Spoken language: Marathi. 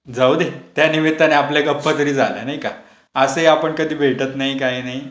जाऊदे. त्यानिमित्ताने आपल्या गप्पातरी झाल्या नाही का? असेही आपण कधी भेटत नाही काय नाही.